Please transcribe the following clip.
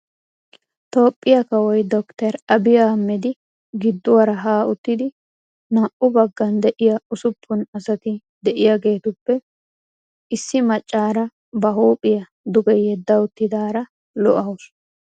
Toophiyaa kawoy Dr.Abi Ahamed gidduwaara ha uttidi naa''u baggan de'iya ussuppun asati de'iyageetuppe issi macaara ba huuphiya duge yedda uttidaara lo"awusu.